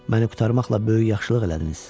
Məni qurtarmaqla böyük yaxşılıq elədiniz.